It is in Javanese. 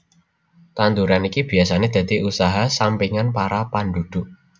Tanduran iki biyasané dadi usaha sampingan para panduduk